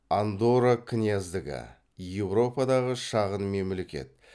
андорра княздігі еуропадағы шағын мемлекет